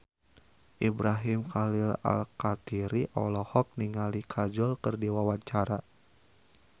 Ibrahim Khalil Alkatiri olohok ningali Kajol keur diwawancara